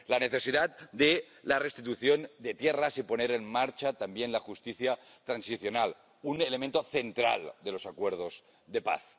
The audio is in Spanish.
la necesidad de la restitución de tierras y de poner en marcha también la justicia transicional, un elemento central de los acuerdos de paz.